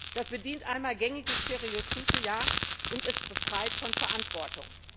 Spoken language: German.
Das bedient einmal gängige Stereotype, und es befreit von Verantwortung.